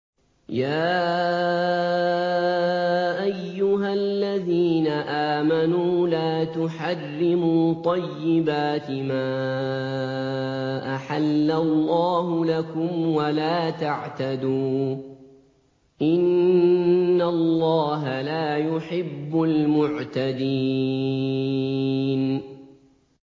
يَا أَيُّهَا الَّذِينَ آمَنُوا لَا تُحَرِّمُوا طَيِّبَاتِ مَا أَحَلَّ اللَّهُ لَكُمْ وَلَا تَعْتَدُوا ۚ إِنَّ اللَّهَ لَا يُحِبُّ الْمُعْتَدِينَ